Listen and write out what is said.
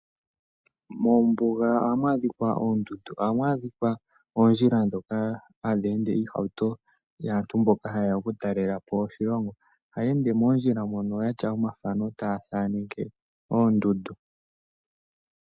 Moombuga ohamu adhika oondundu. Ohamu adhika oondjila ndhoka hadhi ende iihauto yaantu mboka hayeya oku talela po oshilongo. Ohaya ende moondjila moka yatya omathano taya thaaneke oondundu.